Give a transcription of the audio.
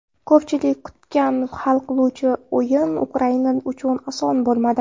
Ko‘pchilik kutgan hal qiluvchi o‘yin Ukraina uchun oson bo‘lmadi.